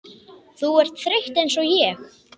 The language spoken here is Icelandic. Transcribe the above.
Þú ert þreytt einsog ég.